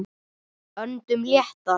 Öndum léttar.